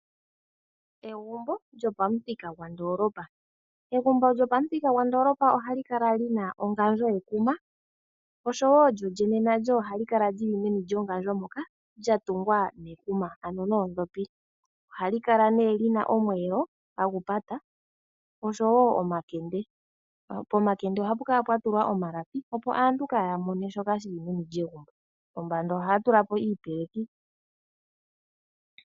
Egumbo lyopamuthika gwondoolopa, egumbo lyopamuthika gwondoolopa oha li kala lina ongandjo yekuma osho wo lyo lyene nalyo oha li kala lyili meni lyongandjo moka, lya tungwa nekuma ano noondhopi. Ohali kala nee lina omweelo hagu pata, osho wo omakende. Pomakende ohapu kala pwatulwa omalapi opo aantu kaaya mone shoka shili meni lyegumbo. Pombanda ohaya tula po iipeleki.